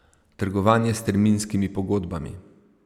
Trgovanje s terminskimi pogodbami.